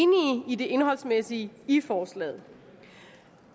det indholdsmæssige i forslaget